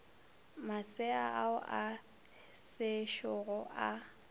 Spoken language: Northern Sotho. masea ao a sešogo a